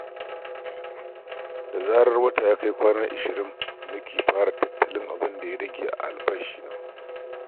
Da zarar wata ya kai kwana ashirin nake fara tattalin abin da ya rage a albashina.